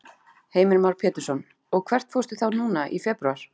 Heimir Már Pétursson: Og hvert fórstu þá núna í febrúar?